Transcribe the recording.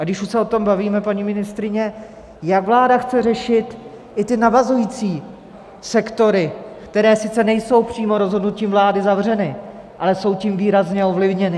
A když už se o tom bavíme, paní ministryně, jak vláda chce řešit i ty navazující sektory, které sice nejsou přímo rozhodnutím vlády zavřeny, ale jsou tím výrazně ovlivněny?